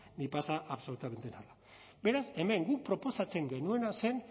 ni pasa absolutamente nada beraz hemen guk proposatzen genuena zen